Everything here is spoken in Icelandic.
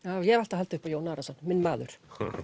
ég hef alltaf haldið upp á Jón Arason minn maður